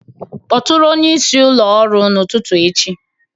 Kpọtụrụ onye isi ụlọ ọrụ n'ụtụtụ echi